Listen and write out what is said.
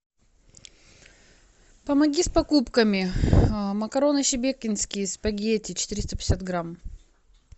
помоги с покупками макароны шебекинские спагетти четыреста пятьдесят грамм